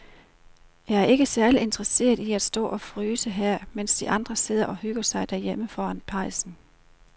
Jeg er ikke særlig interesseret i at stå og fryse her, mens de andre sidder og hygger sig derhjemme foran pejsen.